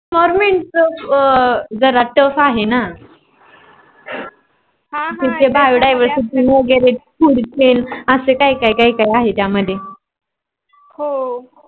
invornments जरा tuff आहेन. तिथ Biodiversity वेगेरे foods चे वगैरे असं काही काही काही काही आहे ना त्या मध्ये